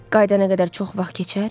Qayıdana qədər çox vaxt keçər?